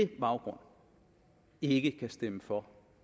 baggrund ikke kan stemme for